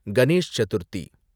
Ganesh Chaturthi